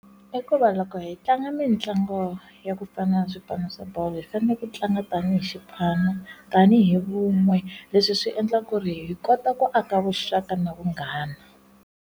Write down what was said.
I ku va loko hi tlanga mitlangu ya kufana na swipano swa bolo hi fanele ku tlanga tanihi xipano tanihi vun'we leswi swi endla ku ri hi kota ku aka vuxaka na vunghana.